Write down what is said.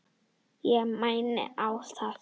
Ég mæni á hann.